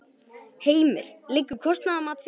Heimir: Liggur kostnaðarmat fyrir?